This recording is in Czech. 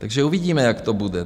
Takže uvidíme, jak to bude.